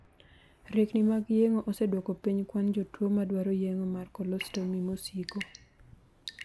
Riekni mag yeng'o oseduoko piny kwan jotuo ma dwaro yeng'o mar 'colostomy' mosiko.